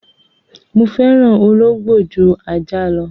Mo fẹ́ràn ológbò ju ajá lọ.